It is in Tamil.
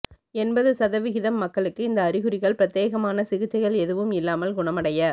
எண்பது சதவிகிதம் மக்களுக்கு இந்த அறிகுறிகள் பிரத்தியேகமான சிகிச்சைகள் எதுவும் இல்லாமல் குணமடைய